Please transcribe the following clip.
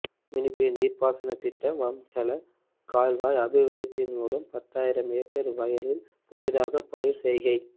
மினிப்பே நீர்ப்பாசனத் திட்ட வம்ஹெல கால்வாய் அபிவிருத்தியின் மூலம் பத்தாயிரம் ஏக்கர் வயலில் புதிதாக பயிர் செய்கை